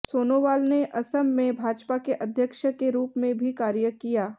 सोनोवाल ने असम में भाजपा के अध्यक्ष के रूप में भी कार्य किया